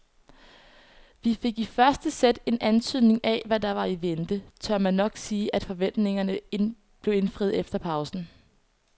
Fik vi i første sæt en antydning af hvad der var i vente, tør man nok sige at forventningerne blev indfriet efter pausen.